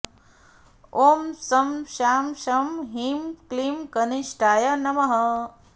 ॐ शं शां षं ह्रीं क्लीं कनिष्ठाय नमः